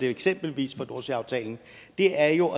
eksempelvis nordsøaftalen er jo